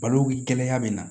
Balo kɛnɛya bɛ na